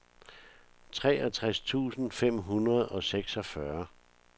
treogtres tusind fem hundrede og seksogfyrre